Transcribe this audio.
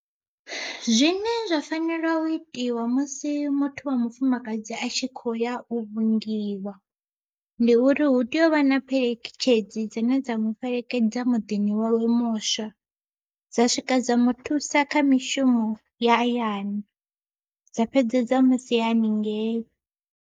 Zwine zwa fanela u itiwa musi muthu wa mufumakadzi a tshi khouya u vhingiwa, ndi uri hu tea u vha na pheletshedzi dzine dza mufhelekedza muḓini wawe muswa dza swika dza muthusa kha mishumo ya hayani dza fhedza dza musia haningei.